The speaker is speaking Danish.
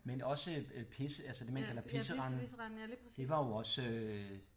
Men også øh pis altså det man kalder Pisserenden det var jo også øh